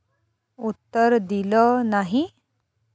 उत्तर दिलं नाही.